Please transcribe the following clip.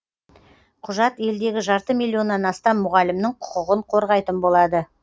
құжат елдегі жарты миллионнан астам мұғалімнің құқығын қорғайтын болады